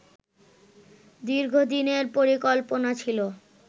দীর্ঘদিনের পরিকল্পনা ছিল